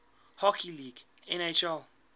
hockey league nhl